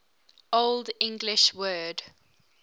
old english word